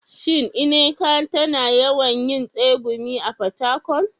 Shin Nneka tana yawan yin tsegumi a Fatakwal?